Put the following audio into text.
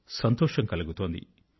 సంతోషం కలుగుతోంది